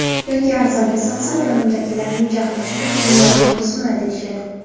Yoki arzonga sotsam, yonimdagilarning jahli chiqib me’yorni buzma deyishadi.